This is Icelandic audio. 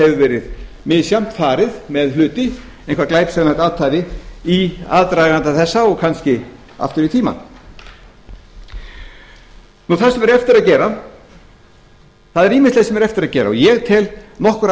hefur verið misjafnt farið með hluti eitthvert glæpsamlegt athæfi í aðdraganda þessa og kannski aftur í tímann það er ýmislegt sem er eftir að gera og ég tel nokkur